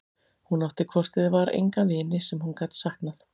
Hún átti hvort eð var enga vini sem hún gat saknað.